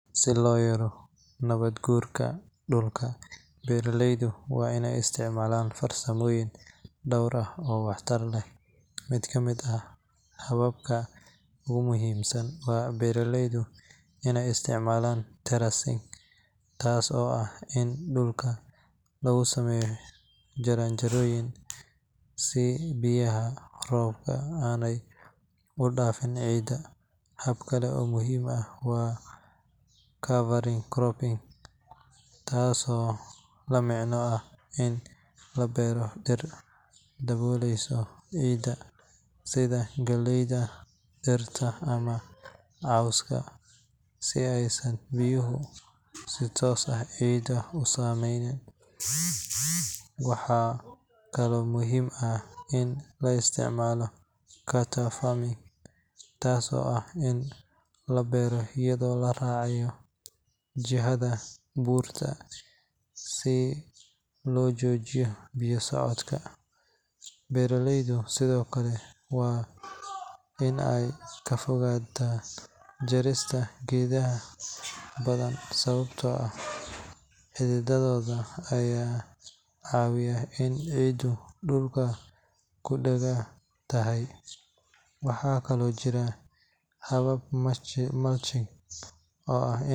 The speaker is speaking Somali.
Si loo yareeyo nabaad guurka dhulka, beeraleyda waa in ay isticmaalaan farsamooyin dhowr ah oo waxtar leh. Mid ka mid ah hababka ugu muhiimsan waa beeraleyda inay isticmaalaan terracing, taas oo ah in dhulka lagu sameeyo jaranjarooyin si biyaha roobka aanay u dhaafin ciidda. Hab kale oo muhiim ah waa cover cropping, taasoo la micno ah in la beero dhir daboolaysa ciidda sida galleyda, digirta, ama cawska, si aysan biyuhu si toos ah ciidda u saameyn. Waxaa kaloo muhiim ah in la isticmaalo contour farming, taas oo ah in la beero iyadoo la raacayo jihada buurta si loo joojiyo biyaha socda. Beeraleyda sidoo kale waa in ay ka fogaadaan jarista geedaha badan, sababtoo ah xididdadooda ayaa caawiya in ciiddu dhulka ku dhagan tahay. Waxaa kale oo jirta habka mulching, oo ah in.